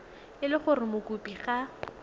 e le gore mokopi ga